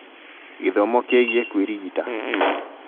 Gĩthomo kĩĩgiĩ kwĩrigita